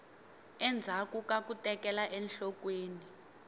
endzhaku ka ku tekela enhlokweni